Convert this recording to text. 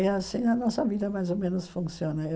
E assim a nossa vida mais ou menos funciona. Eu